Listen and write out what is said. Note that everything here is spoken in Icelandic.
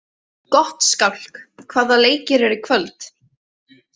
Gottskálk, hvaða leikir eru í kvöld?